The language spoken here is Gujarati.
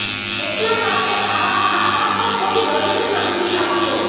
એટલા માટે આવા ખાતા પર કોઈ દંડ નથી લાગતો